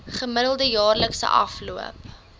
gemiddelde jaarlikse afloop